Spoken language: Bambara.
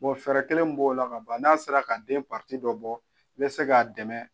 fɛɛrɛ kelen mun b'o la ka ban n'a sera ka den dɔ bɔ i bɛ se k'a dɛmɛ.